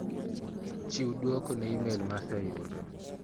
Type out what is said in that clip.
Chiw duoko ne imel ma aseyudo.